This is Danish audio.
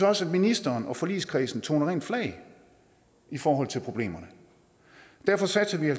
også at ministeren og forligskredsen toner rent flag i forhold til problemerne derfor satser vi i